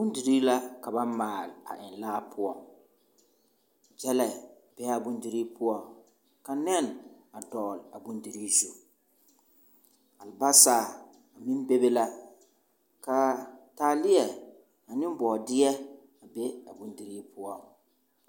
Bondirii la ka ba maale a eŋ laa poͻŋ. Gyԑlԑ bee a bondirii poͻŋ ka nԑne dogele a bondirii zu. Alebasa meŋ bebe la ka taaleԑ ane bͻͻdeԑ a be a bindirii poͻ.